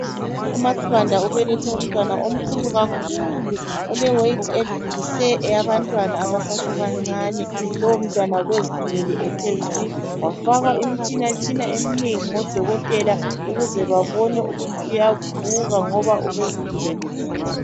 UmaSibanda ubelethe umntwana omkhulu kakhulu oleweyithi edlulise eyabantwana abasesebancane. Lowomntwana ubezithulele ethe zwi, wafakwa imitshinatshina eminengi ngodokotela ukuze babone ukuthi uyavuka ngoba ubezithulele zwi.